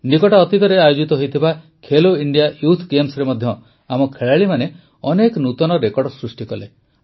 ନିକଟ ଅତୀତରେ ଆୟୋଜିତ ହୋଇଥିବା ଖେଲୋଇଣ୍ଡିଆ ୟୁଥ ଗେମ୍ସରେ ମଧ୍ୟ ଆମ ଖେଳାଳିମାନେ ଅନେକ ନୂତନ ରେକର୍ଡ଼ ସୃଷ୍ଟି କଲେ